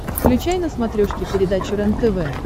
включай на смотрешке передачу рентв